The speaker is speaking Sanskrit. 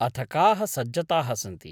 अथ काः सज्जताः सन्ति ?